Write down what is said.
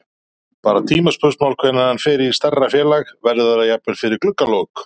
Bara tímaspursmál hvenær hann fer í stærra félag. verður það jafnvel fyrir gluggalok?